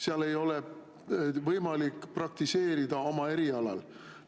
Seal ei ole võimalik praktiseerida oma erialal.